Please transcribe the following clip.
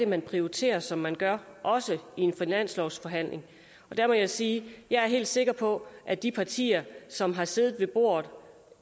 man prioriterer som man gør også i en finanslovsforhandling der må jeg sige at jeg er helt sikker på at de partier som har siddet ved bordet